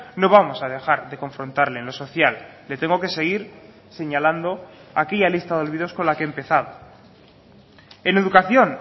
no vamos a dejar de confrontarle en lo social le tengo que seguir señalando aquella lista de olvidos con la que he empezado en educación